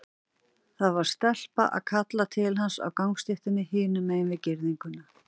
Það var stelpa að kalla til hans á gangstéttinni hinum megin við girðinguna.